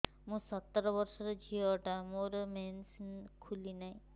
ମୁ ସତର ବର୍ଷର ଝିଅ ଟା ମୋର ମେନ୍ସେସ ଖୁଲି ନାହିଁ